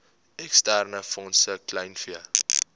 eksterne fondse kleinvee